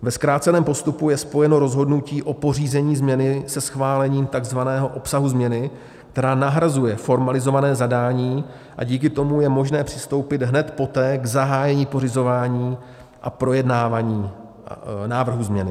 Ve zkráceném postupu je spojeno rozhodnutí o pořízení změny se schválením takzvaného obsahu změny, která nahrazuje formalizované zadání, a díky tomu je možné přistoupit hned poté k zahájení pořizování a projednávání návrhu změny.